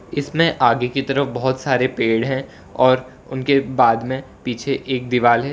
इसमें आगे की तरफ बहोत सारे पेड़ हैं और उनके बाद में पीछे एक दीवाल है।